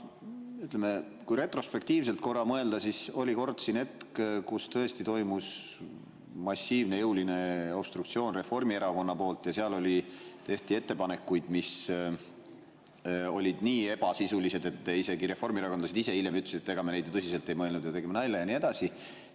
Ütleme, kui retrospektiivselt korra mõelda, siis oli kord siin hetk, kui tõesti toimus massiivne ja jõuline obstruktsioon Reformierakonna poolt, tehti ettepanekuid, mis olid nii ebasisulised, et isegi reformierakondlased ise hiljem ütlesid, et ega me neid ju tõsiselt ei mõelnud, tegime nalja ja nii edasi.